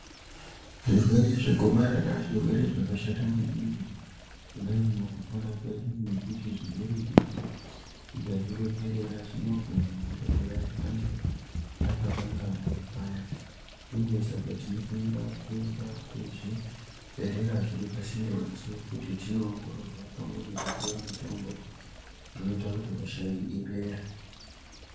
Zvirwere zvegomarara zvirwere zvakashata maningi kudai mukupona kwedu nekuti zvirwere izvi tikazvirekerera zvinogona kutouraya antu takakanganwa paya. Uye saka tinofanira kuenda kuzvibhehlera zviri pasinde nesu kuti tninoongororwa pamwe nekupiwa mitombo inota kuti hosha iyi ipere.